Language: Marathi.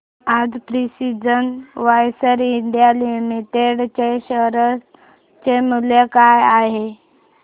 आज प्रिसीजन वायर्स इंडिया लिमिटेड च्या शेअर चे मूल्य काय आहे